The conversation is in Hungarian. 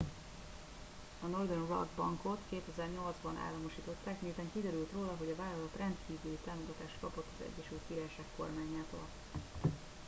a northern rock bankot 2008 ban államosították miután kiderült róla hogy a vállalat rendkívüli támogatást kapott az egyesült királyság kormányától